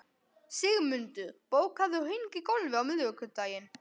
Sigmundur, bókaðu hring í golf á miðvikudaginn.